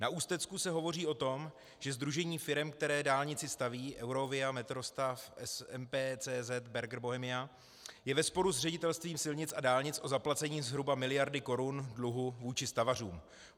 Na Ústecku se hovoří o tom, že sdružení firem, které dálnici staví, EUROVIA, Metrostav, MP CZ Berger Bohemia, je ve sporu s Ředitelství silnic a dálnic o zaplacení zhruba miliardy korun dluhu vůči stavařům.